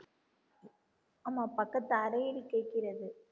ஆமா பக்கத்துக்கு அறையில் கேக்கிறது